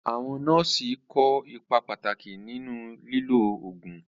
Àwọn nọ́ọ̀sì kó ipa pàtàkì nínú lílo oògùn.